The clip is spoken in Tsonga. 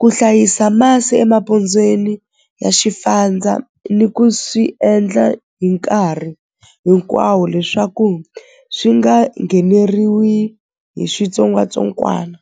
ku hlayisa masi emapondzweni ya ni ku swi endla hi nkarhi hinkwawo leswaku swi nga ngheneriwi hi switsongwatsongwana.